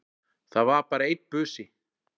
Það var bara einn busi!